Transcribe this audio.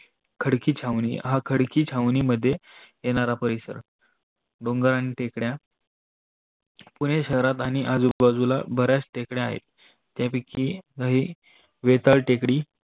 खडकी छावणी हा खडकी छावणी मध्ये येणारा परिसर डोंगर आणि टेकड्या पुने शहरात आणि आजूबाजूला बऱ्याच तेकड्या आहे. त्यापैकी लई वेताळ टेकडी